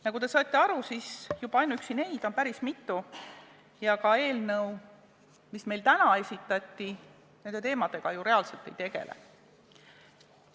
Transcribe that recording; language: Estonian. Nagu te aru saite, on juba ainuüksi neid probleeme päris mitu ja eelnõu, mis meile täna esitati, nende teemadega reaalselt ei tegele.